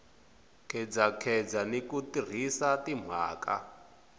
khedzakheza ni ku tirhisa timhaka